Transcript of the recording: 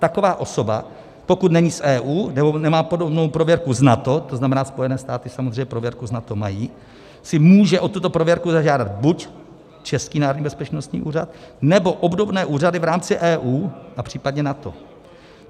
Taková osoba, pokud není z EU nebo nemá podobnou prověrku z NATO, to znamená, Spojené státy samozřejmě prověrku z NATO mají, si může o tuto prověrku zažádat buď český Národní bezpečnostní úřad, nebo obdobné úřady v rámci EU a případně NATO.